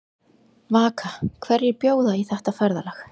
Vaka, hverjir bjóða í þetta ferðalag?